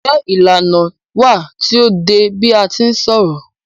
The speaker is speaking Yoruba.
Njé ìlànà wà tí o dé bi a ti ń ṣọ̀rọ̀?